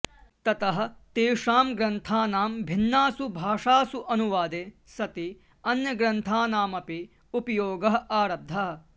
ततः तेषां ग्रन्थानां भिन्नासु भाषासु अनुवादे सति अन्यग्रन्थानामपि उपयोगः आरब्धः